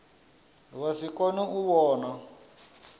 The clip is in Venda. vha si kone u vhona